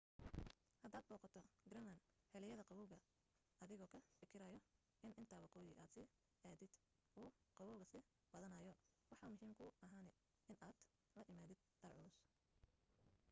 hadaad booqato greenland xiliyada qawowga adigoo ka fikiraayo in inta waqooyi aad sii aadid uu qawowga sii badanaayo waxaa muhiim kuu ahaani inaad la imaadid dhar culus